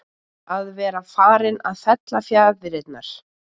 Að vera farinn að fella fjaðrirnar